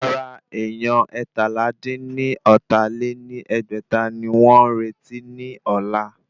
Rárá èyán eétalá-dín-ní-ọ́ta lé ní ẹgbẹ́ta ni wọ́n ń retí ní ọ̀la